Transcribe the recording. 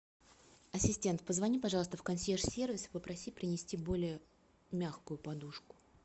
ассистент позвони пожалуйста в консьерж сервис и попроси принести более мягкую подушку